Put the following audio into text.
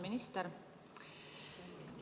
Minister!